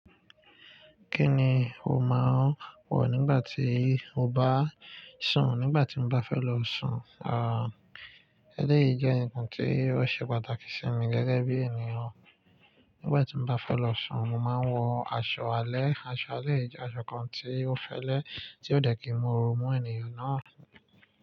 Kí ni o máa ń wọ̀ nígbà tí o bá sùn? Nígbà tí mo bá fẹ́ lọ sùn, ah, eléyìí jẹ́ ǹkan tí ó ṣe pàtàkì sí mi gẹ́gẹ́ bí ènìyàn. Nígbà tí mo bá fẹ́ lọ sùn, mo máa ń wọ aṣọ alẹ́. Aṣọ alẹ́ yìí jẹ́ aṣọ kan tí ó fẹ́lẹ́, tí ó dẹ̀ kí ń mú oru mú ènìyàn náà.